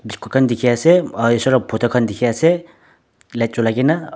Juku khan dekhe ase um uh isor la photo khan dekhe ase light julai kena.